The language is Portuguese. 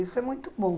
Isso é muito bom.